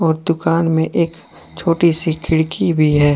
और दुकान में एक छोटी सी खिड़की भी है।